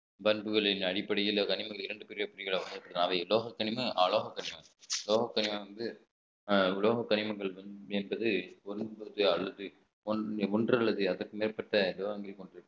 பண்புகளின் அடிப்படையில் கனிமங்கள் இரண்டு பெரிய புலிகளாக இருக்கிறது உலோக பனிமுதல் என்பது ஒன்று அல்லது அதற்கு மேற்பட்ட